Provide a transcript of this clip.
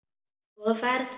Góða ferð,